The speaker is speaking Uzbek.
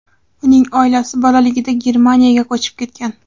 Uning oilasi bolaligida Germaniyaga ko‘chib ketgan.